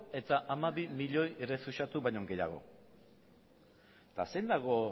eta hamabi milioi errefuxiatu baino gehiago eta zein dago